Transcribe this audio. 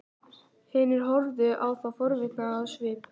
Hinir horfðu á þá forvitnir á svip.